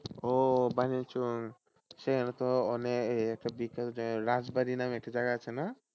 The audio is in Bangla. ও বানিয়াচং সেখানে তো অনেক এই~একটা বিখ্যাত জায়গা রাজবাড়ি নামের একটা জায়গা আছে না।